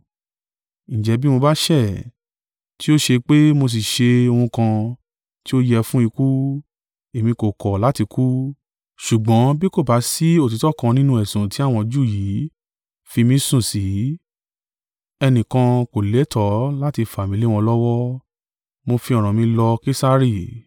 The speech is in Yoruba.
Ǹjẹ́ bí mo bá ṣẹ̀, tí ó ṣe pe mo sì ṣe ohun kan tí ó yẹ fún ikú, èmi kò kọ̀ láti kú, ṣùgbọ́n bí kò bá sí òtítọ́ kan nínú ẹ̀sùn tí àwọn Júù yìí fi mi sùn sí, ẹnìkan kò lẹ́tọ̀ọ́ láti fà mí lé wọn lọ́wọ́. Mo fi ọ̀ràn mi lọ Kesari.”